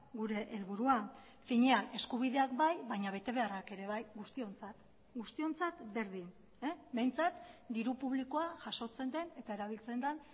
gure helburua finean eskubideak bai baina betebeharrak ere bai guztiontzat guztiontzat berdin behintzat diru publikoa jasotzen den eta erabiltzen den